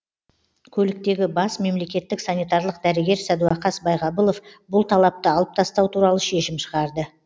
көліктегі бас мемлекеттік санитарлық дәрігер сәдуақас байғабылов бұл талапты алып тастау туралы шешім шығарды